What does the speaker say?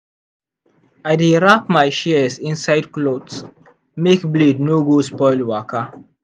i dey wrap my shears inside cloth make blade no go spoil waka.